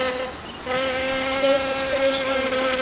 Geysir gaus einnig.